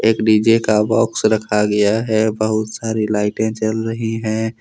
एक डी_जे का बॉक्स रखा गया है बहुत सारी लाइटें जल रही हैं।